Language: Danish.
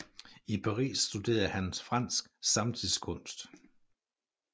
I Paris studerede han fransk samtidskunst